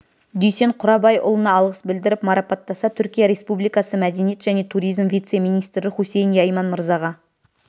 дүйсен құрабайұлына алғыс білдіріп марапаттаса түркия республикасы мәдениет және туризм вице министрі хусейн яйман мырзаға